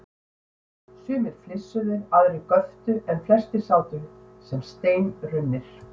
Sumir flissuðu, aðrir göptu en flestir sátu sem steinrunnir.